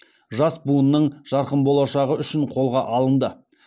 жас буынның жарқын болашағы үшін қолға алынды